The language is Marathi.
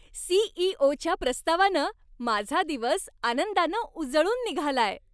सी.ई.ओ.च्या प्रस्तावानं माझा दिवस आनंदानं उजळून निघालाय.